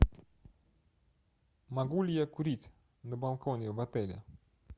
могу ли я курить на балконе в отеле